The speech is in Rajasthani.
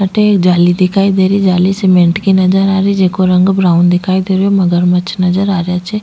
अठे एक जाली दिखाई दे रही जाली सीमेंट की नजर आ रही जेको रंग ब्राउन दिखाई दे रेहो मगरमच्छ नजर आ रेहा छे।